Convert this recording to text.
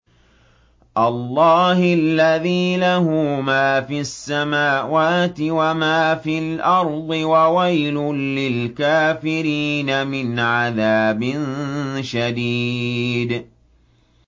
اللَّهِ الَّذِي لَهُ مَا فِي السَّمَاوَاتِ وَمَا فِي الْأَرْضِ ۗ وَوَيْلٌ لِّلْكَافِرِينَ مِنْ عَذَابٍ شَدِيدٍ